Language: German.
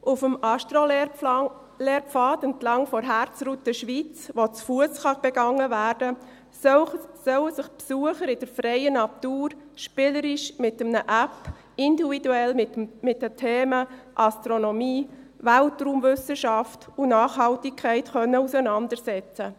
Auf dem Astro-Lehrpfad, entlang der Herzroute Schweiz, die zu Fuss begangen werden kann, sollen sich die Besucher in der freien Natur spielerisch mit einer App individuell mit den Themen Astronomie, Weltraumwissenschaft und Nachhaltigkeit auseinandersetzen.